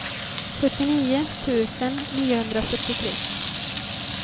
sjuttionio tusen niohundrafyrtiotre